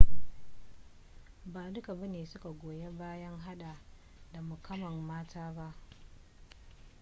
ba duka bane suka goyi bayan hada da mukamman mata ba